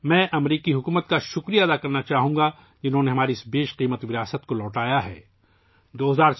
میں امریکی حکومت کا شکریہ ادا کرنا چاہوں گا، جس نے ہمارا یہ قیمتی ورثہ واپس کیا